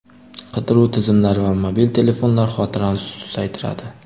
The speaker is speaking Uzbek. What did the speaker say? Qidiruv tizimlari va mobil telefonlar xotirani susaytiradi.